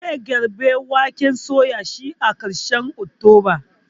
Zai girbi waken suyan shi a karshen oktoba